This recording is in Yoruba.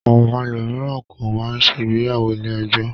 Àwọn ẹlòmíràn kọ̀ máa ń ṣe ìgbéyàwó ilé-ẹjọ́.